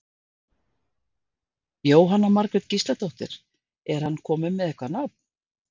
Jóhanna Margrét Gísladóttir: Er hann kominn með eitthvað nafn?